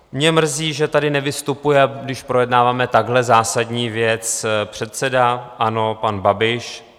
Mě mrzí, že tady nevystupuje, když projednáváme takhle zásadní věc, předseda ANO pan Babiš.